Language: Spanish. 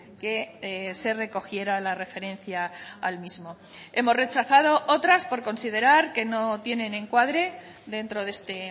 que se recogiera la referencia al mismo hemos rechazado otras por considerar que no tienen encuadre dentro de este